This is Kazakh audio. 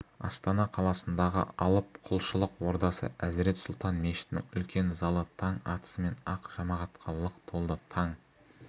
астана қаласындағы алып құлшылық ордасы әзірет сұлтан мешітінің үлкен залы таң атысымен-ақ жамағатқа лық толды таң